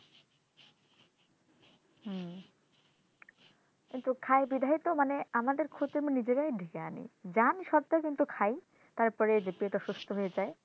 কিন্তু খায় বোধ হয় তো মানেই আমাদের ক্ষতি আমরা নিজেরাই ডেকে আনি জানি সত্ত্বেও কিন্তু খায় তারপরে যে পেট অসুস্থ হয়ে যাই